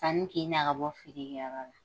Sanni k'i na ka bɔ feere kɛyɔrɔ la